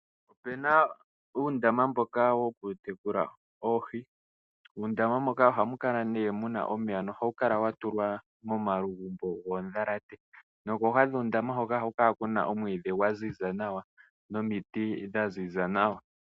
Opena uundama mboka woku tekula oohi. Muundama moka ohamu kala mu nee muna omeya nohawu kala wa tulwa moma lugumbo goo ndhalate, nokooha dhuu ndama mboka ohaku kala omwiidhi gwa ziza nawa nomiti dha ziza nawa.